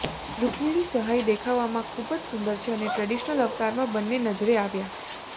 રુક્મણિ સહાઈ દેખાવમાં ખુબ જ સુંદર છે અને ટ્રેડિશનલ અવતારમાં બંને નજરે આવ્યા